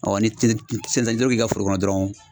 ni i ka foro kɔnɔ dɔrɔn